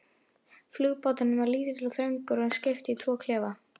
Flugbáturinn var lítill og þröngur og skipt í tvo klefa.